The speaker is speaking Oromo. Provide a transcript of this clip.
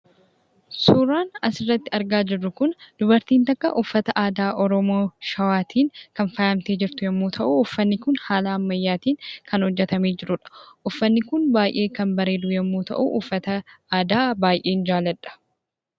Suuraan asirratti argaa jirru kun, dubartiin takka uffata aadaa Oromoo Shawaatiin kan faayamtee jirtu yoo ta'u, uffanni kun haala ammayyaatiin kan hojjatamee jirudha. Uffanni kun baayyee kan bareedu yommuu ta'u, uffata aadaa baayyeen jaaladha.